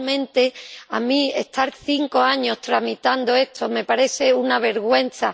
Realmente, a mí, estar cinco años tramitando esto, me parece una vergüenza